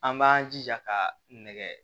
An b'an jija ka nɛgɛ